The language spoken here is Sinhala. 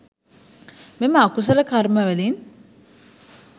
මෙම අකුසල කර්ම වලින්